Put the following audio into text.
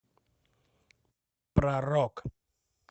про рок